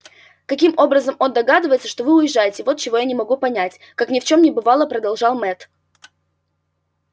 каким образом он догадывается что вы уезжаете вот чего я не могу понять как ни в чём не бывало продолжал мэтт